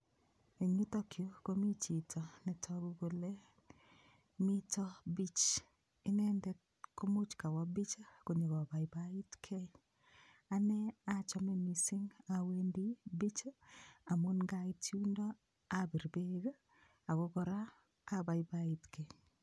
Eng yutokyu komi chito netogu kole mito beach. Inendet komuch kawa beach konyokobaibaitgei. Ane achame mising awendi beach amun ngait yundok apir beek ako kora abaibaitkei.